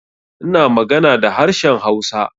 Ina magana da harshen Hausa.